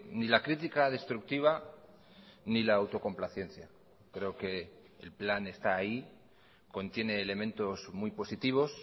ni la crítica destructiva ni la autocomplacencia creo que el plan está ahí contiene elementos muy positivos